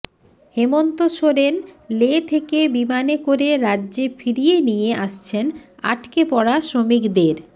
হেমন্ত সোরেন লে থেকে বিমানে করে রাজ্যে ফিরিয়ে নিয়ে আসছেন আটকে পড়া শ্রমিকদের